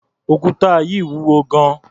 Òkúta yìí wúwo gan-an.